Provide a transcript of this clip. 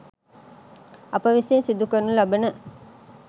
අප විසින් සිදු කරනු ලබන